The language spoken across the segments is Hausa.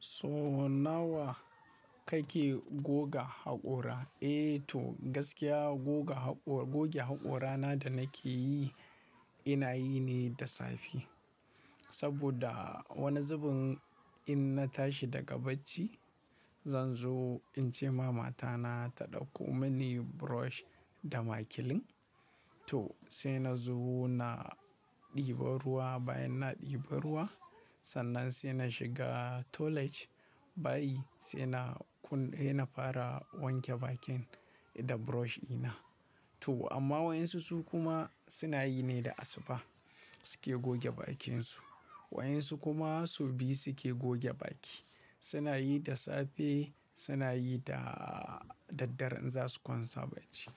So nawa kake goga haƙora? Eh to gaskiya goga hakora goge haƙorana da nake yi ina yi ne da safe. Saboda wani zubin in na tashi daga bacci, zan zo in ce ma mata na ta ɗauko mini brush da makilin. To sai na zo na ɗiba ruwa, bayan na ɗiba ruwa, sannan sai na shiga toilet bayi sai na kun-- sai na fara wanke bakin da brush ina. To amma waɗansu su kuma suna yi ne da asuba suke goge bakinsu. Wa'yansu kuma sau biyu suke goge baki. Suna yi da safe, suna yi da daddare in za su kwanta bacci.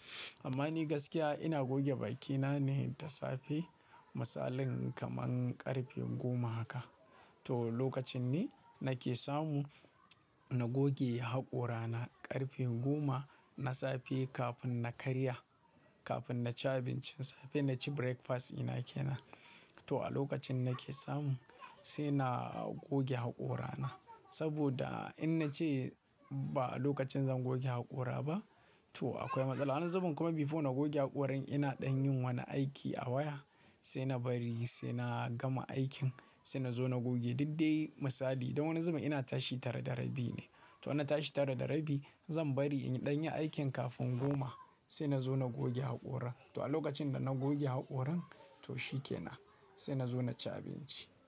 Amma ni gaskiya ina goge bakina ne da safe. Misalin kamar ƙarfe goma haka. To lokacin ne nake samu na goge haƙora na ƙarfe goma na safe kafin na karya, kafin na ci abincin safe, na ci breakfast ina ke nan. To a lokacin nake samu sai na goge haƙora na. Saboda in na ce ba a lokacin zan goge haƙora ba to akwai matsala. Wani zubin kuma before na goge haƙorin ina ɗan yin wani aiki a waya sai na bari sai na gama aikin sai na zo na goge. Didde misali, don wani zubin ina tashi tare da rabi ne. To in na tashi tara da rabi zan bari in ɗan yi aikin kafin goma sai na zo na goge haƙora. To a lokacin da na goge haƙoran to shi ke nan sai na zo na ci abinci.